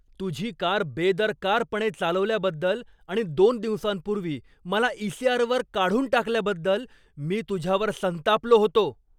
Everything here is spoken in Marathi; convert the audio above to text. तुझी कार बेदरकारपणे चालवल्याबद्दल आणि दोन दिवसांपूर्वी मला ईसीआरवर काढून टाकल्याबद्दल मी तुझ्यावर संतापलो होतो.